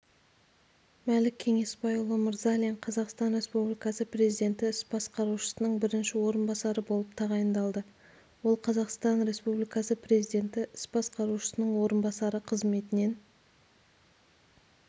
мәлік кеңесбайұлы мырзалин қазақстан республикасы президенті іс басқарушысының бірінші орынбасары болып тағайындалды ол қазақстан республикасы президенті іс басқарушысының орынбасары қызметінен